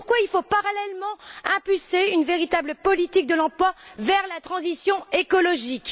C'est pourquoi il faut, parallèlement, promouvoir une véritable politique de l'emploi tournée vers la transition écologique.